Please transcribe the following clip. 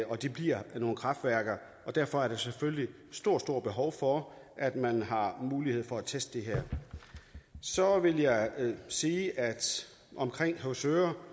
de bliver nogle kraftværker og derfor er der selvfølgelig et stort stort behov for at man har mulighed for at teste dem så vil jeg sige om høvsøre